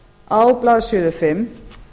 á blaðsíðu fimm